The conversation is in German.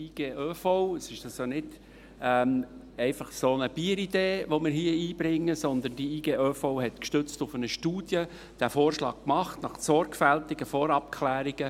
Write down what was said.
Es ist also nicht einfach so eine Bieridee, die wir hier einbringen, sondern die IGöV hat diesen Vorschlag gestützt auf eine Studie gemacht, nach sorgfältigen Vorabklärungen.